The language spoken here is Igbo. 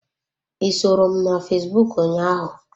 I soro m na fesbụụk ụnyaahụ?